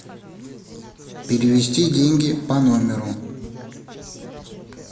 перевести деньги по номеру